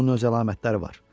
Bunun öz əlamətləri var.